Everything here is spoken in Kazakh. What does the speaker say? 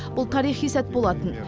бұл тарихи сәт болатын